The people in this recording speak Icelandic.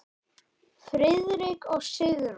Friðrik og Sigrún.